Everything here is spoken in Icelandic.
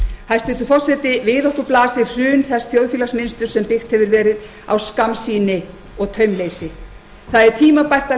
hæstvirtur forseti við okkur blasir hrun þess þjóðfélagsmunsturs sem byggt hefur verið á skammsýni og taumleysi það er tímabært að